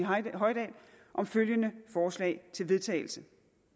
hoydal om følgende forslag til vedtagelse